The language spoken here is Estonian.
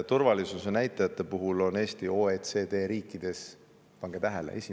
Turvalisuse näitajate puhul on Eesti OECD riikides – pange tähele!